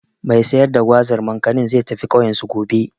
Mai sai da Gwazar/Makanin, zai tafi ƙauyensu, gobe.